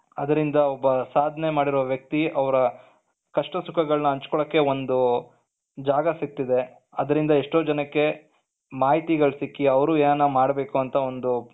ಅದರಿಂದ ಒಬ್ಬ ಸಾಧನೆ ಮಾಡಿರುವ ವ್ಯಕ್ತಿ ಅವರ ಕಷ್ಟ ಸುಖಗಳನ್ನ ಹಂಚಿಕೊಳ್ಳೋಕೆ ಒಂದು ಜಾಗ ಸಿಕ್ಕಿತಿದೆ ಅದರಿಂದ ಎಷ್ಟೋ ಜನಕ್ಕೆ ಮಾಹಿತಿಗಳು ಸಿಕ್ಕಿ, ಅವರು ಏನಾನ ಮಾಡಬೇಕು ಅಂತ ಒಂದು.